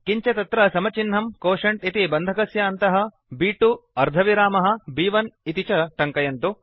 किञ्च तत्र समचिह्नं क्वोटिएंट इति बन्धक्स्य अन्तः ब्2 अर्धविरामः ब्1 इति च टङ्कयन्तु